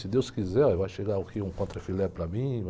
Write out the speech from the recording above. Se Deus quiser, vai chegar aqui um contra filé para mim.